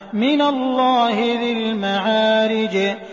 مِّنَ اللَّهِ ذِي الْمَعَارِجِ